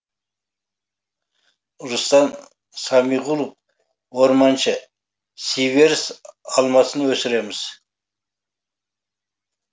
рустам самиғұлов орманшы сиверс алмасын өсіреміз